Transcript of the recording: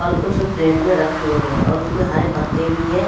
और कुछ प्लेट में रखी हुई हैं और उसमें हरे पत्ते भी हैं।